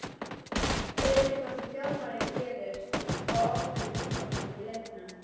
Er eitthvað sem þjálfarinn gerir á ákveðnum tímapunktum í leiknum?